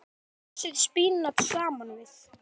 Setjið frosið spínat saman við.